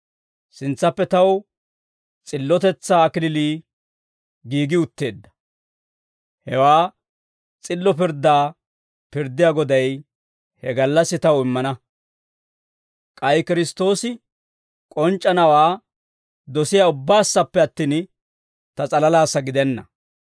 Sintsappe taw s'illotetsaa kalachchay giigi utteedda. Hewaa s'illo pirddaa pirddiyaa Goday he gallassi taw immana. K'ay Kiristtoosi k'onc'c'anawaa dosiyaa ubba saappe attin, ta s'alalaassa gidenna.